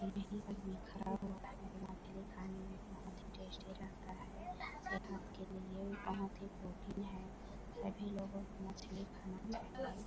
वहीँ पे बिखारा हुआ है मछली खाने में बहुत ही टेस्टी रहता है सेहत के लिए बहुत ही प्रोटीन है सभी लोगो को मछली खाना चाहिए।